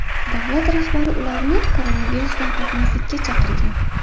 Davlat rahbari ularni koronavirusdan qo‘rqmaslikka chaqirgan.